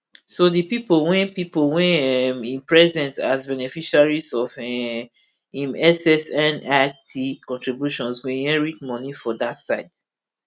so di pipo wey pipo wey um im present as beneficiaries of um im ssnit contributions go inherit moni for dat side